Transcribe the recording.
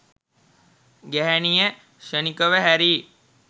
ගැහැණිය ක්ෂණිකව හැරී